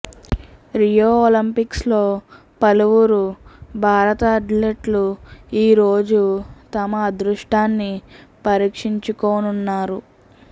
Rio ఒలింపిక్స్లో పలువురు భారత అథ్లెట్లు ఈ రోజు తమ అదృష్టాన్ని పరీక్షించుకోనున్నారు